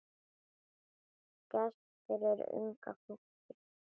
Gess fyrir unga fólkið.